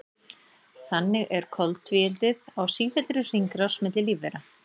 Þannig er koltvíildið á sífelldri hringrás milli lífvera.